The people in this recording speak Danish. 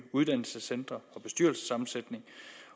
uddannelsescentre og bestyrelsessammensætning